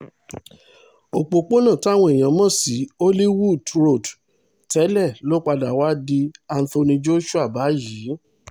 òpópónà táwọn èèyàn mọ̀ sí hollywood road tẹ́lẹ̀ ló padà wàá di anthony joshua báyìí